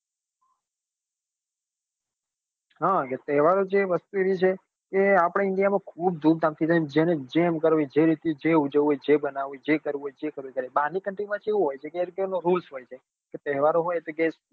હા એ તહેવારો છે એ વસ્તુ એવી છે કે આપડ india માં ખુબ ધૂમ ધામ થી થાય ને જેને જેમ કરવું હોય ને જે રીતે જે ઉજવવું હોય જેને જે બનવાવવું હોય એ જે કરવું એ એ કરે બાર ની country માં કેવું હોય કે એમને એક rules કે તહેવારો હોય તો